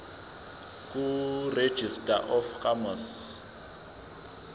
kuregistrar of gmos